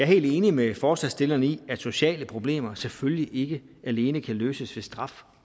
helt enig med forslagsstillerne i at sociale problemer selvfølgelig ikke alene kan løses ved straf